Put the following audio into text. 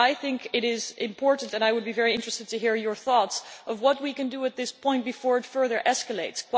I think it is important and on this I would be very interested to hear your thoughts to see what we can do at this point before it further escalates.